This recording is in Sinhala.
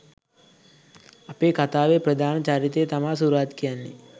අපේ කථාවේ ප්‍රධාන චරිතේ තමා සුරජ් කියන්නේ